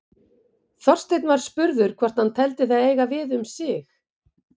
Þorsteinn var spurður hvort hann teldi það eiga við um sig.